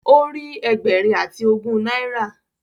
O rí ẹgbẹrin ati ogún naira